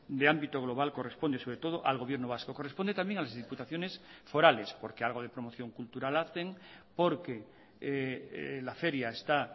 de ámbito global corresponde sobre todo al gobierno vasco corresponde también a las diputaciones forales porque algo de promoción cultural hacen porque la feria está